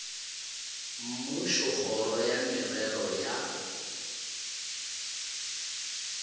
mmušo kgoro ya merero ya